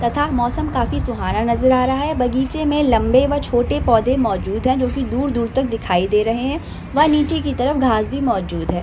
तथा मौसम काफी सुहाना नजर आ रहा है बगीचे मे लम्बे व छोटे पौधे मौजूद है जो की दूर-दूर तक दिखाई दे रहे है। व नीचे की तरफ घास भी मौजूद है।